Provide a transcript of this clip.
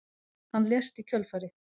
Hann lést í kjölfarið